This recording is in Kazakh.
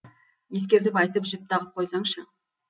ескертіп айтып жіп тағып қойсаңшы